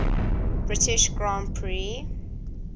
british grand prix